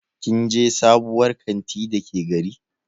Kin je sabuwar kanti Dake gari?